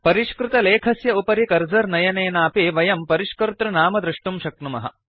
परिष्कृतलेखस्य उपरि कर्सर् नयनेनापि वयं परिष्कर्तृनाम दृष्टुं शक्नुमः